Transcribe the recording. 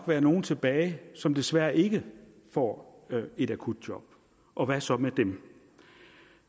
være nogle tilbage som desværre ikke får et akutjob og hvad så med dem